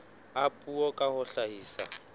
a puo ka ho hlahisa